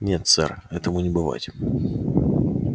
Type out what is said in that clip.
нет сэр этому не бывать